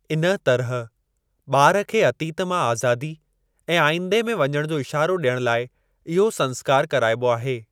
इन तरह, ॿार खे अतीत मां आज़ादी ऐं आइंदे में वञण जो इशारो ॾियण लाइ इहो संस्कार कराइबो आहे।